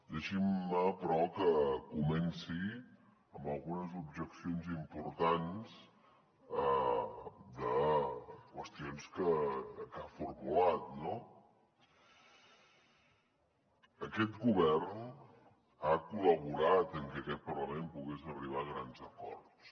deixin me però que comenci amb algunes objeccions importants de qüestions que ha formulat no aquest govern ha col·laborat en que aquest parlament pogués arribar a grans acords